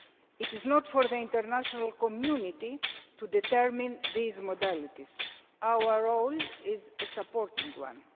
It is not for the international community to determine those modalities. Our role is a supporting one.